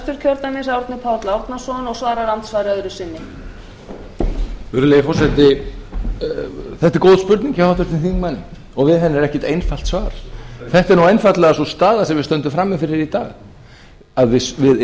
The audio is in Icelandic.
þetta er góð spurning hjá háttvirtum þingmanni og við henni er ekkert einfalt svar þetta er einfaldlega sú staða sem við stöndum frammi fyrir í dag að við